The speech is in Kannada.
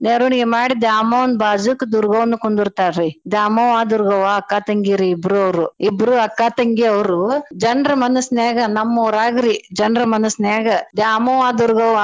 ಮೆರ್ವಣ್ಗಿ ಮಾಡಿ ದ್ಯಾಮವ್ವನ್ ಬಾಜೂಕ್ ದುರ್ಗವ್ವನೂ ಕುಂದುರ್ಥಾರಿ ದ್ಯಾಮವ್ವ ದುರ್ಗವ್ವ ಅಕ್ಕಾ ತಂಗಿರೀ ಇಬ್ರು ಅವ್ರು ಇಬ್ರು ಅಕ್ಕಾ ತಂಗಿ ಅವ್ರು ಜನ್ರ್ ಮನ್ಸನ್ಯಾಗ ನಮ್ಮೂರಾಗ್ರೀ ಜನ್ರ್ ಮನ್ಸನ್ಯಾಗ ದ್ಯಾಮವ್ವ ದುರ್ಗವ್ವ.